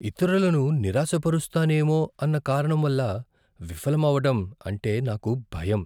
ఇతరులను నిరాశపరుస్తానేమో అన్న కారణం వల్ల విఫలమవ్వడం అంటే నాకు భయం .